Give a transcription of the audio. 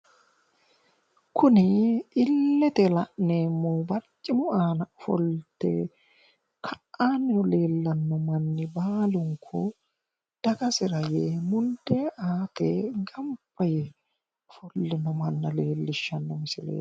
Kuni illete la'neemmohu barcimu aana ofolte ka'aanni leellanno manni baalunku dagasira yee mundee aate gamba yee ofollino manna leellishshanno misileeti.